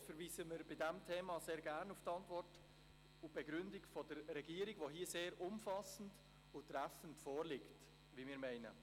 Überhaupt verweisen wir bei diesem Thema sehr gerne auf die Antwort und Begründung der Regierung, die hier sehr umfassend und treffend vorliegt, wie wir meinen.